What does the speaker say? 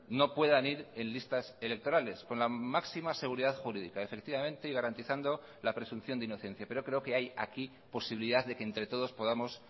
no puedan ir en listas electorales con la máxima seguridad jurídica efectivamente y garantizando la presunción de inocencia pero creo que hay aquí posibilidad de que entre todos podamos